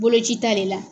Boloci ta de la